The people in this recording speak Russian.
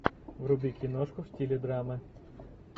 вруби киношку в стиле драмы